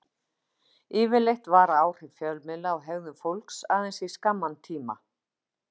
Yfirleitt vara áhrif fjölmiðla á hegðun fólks aðeins í skamman tíma.